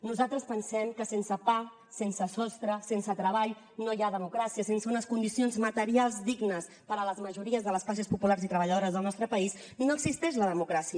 nosaltres pensem que sense pa sense sostre sense treball no hi ha democràcia sense unes condicions materials dignes per a les majories de les classes populars i treballadores del nostre país no existeix la democràcia